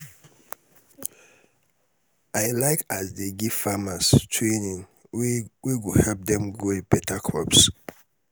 i like as dem dey give farmers training wey wey go help dem grow beta crops.